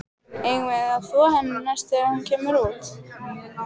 Eigum við að þvo henni næst þegar hún kemur út?